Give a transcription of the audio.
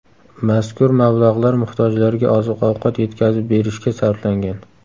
Mazkur mablag‘lar muhtojlarga oziq-ovqat yetkazib berishga sarflangan.